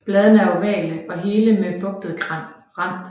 Bladene er ovale og hele med bugtet rand